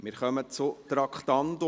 Wir kommen zum Traktandum 88.